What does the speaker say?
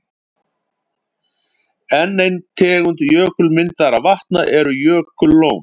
Enn ein tegund jökulmyndaðra vatna eru jökullón.